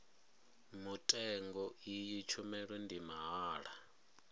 mutengo iyi tshumelo ndi mahala